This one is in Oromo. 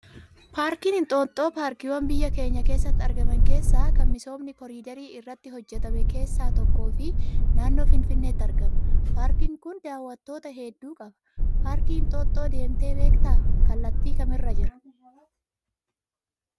Paarkiin Inxooxxoo paarkiiwwan biyya keenya keessatti argaman keessaa kan misoomni koriidarii irratti hojjatame keessaa tokkoo fi naannoo finfinneetti argama. Paarkiin kun daawwattoota hedduu qaba. Paarkii inxooxxoo deemtee beektaa? Kallattii kamirra jira?